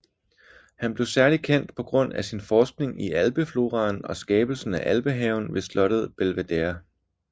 Han blev særligt kendt på grund af sin forskning i Alpefloraen og skabelsen af alpehaven ved slottet Belvedere